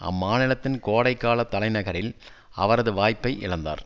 அம்மாநிலத்தின் கோடை கால தலைநகரில் அவரது வாய்ப்பை இழந்தார்